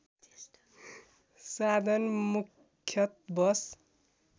साधन मुख्यतः बस